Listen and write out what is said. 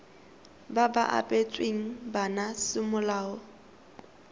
ba ba abetsweng bana semolao